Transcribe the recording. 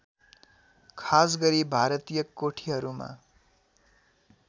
खासगरी भारतीय कोठीहरूमा